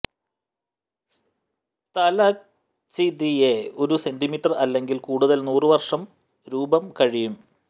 സ്തലച്തിതെ ഒരു സെന്റിമീറ്റർ അല്ലെങ്കിൽ കൂടുതൽ നൂറു വർഷം രൂപം കഴിയും